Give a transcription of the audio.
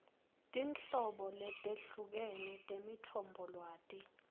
tinhlobo letehlukene temitfombolwati